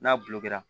N'a bulu kɛ la